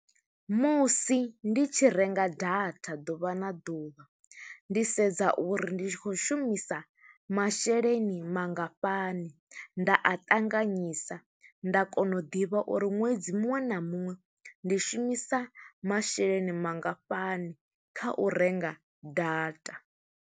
Musi ndi tshi renga data ḓuvha na ḓuvha, ndi sedza uri ndi tshi khou shumisa masheleni mangafhani, nda a ṱanganyisa. Nda kona u ḓivha uri ṅwedzi muṅwe na muṅwe, ndi shumisa masheleni mangafhani, kha u renga data.